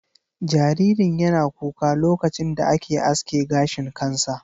Jaririn yana kuka lokacin da ake aske gashin kansa.